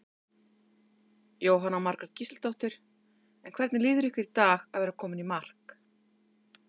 Jóhanna Margrét Gísladóttir: En hvernig líður ykkur í dag að vera komin í mark?